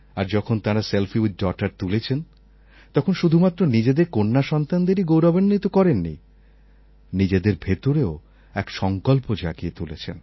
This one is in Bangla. আর যখন তাঁরা সেলফি উইথ ডগটার তুলেছেন তখন শুধুমাত্র নিজেদের কন্যাসন্তানদেরই গৌরবান্বিত করেননি নিজেদের ভেতরেও এক সংকল্প জাগিয়ে তুলেছেন